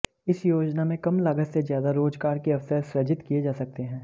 इस योजना में कम लागत से ज्यादा रोजगार के अवसर सृजित किये जा सकते हैं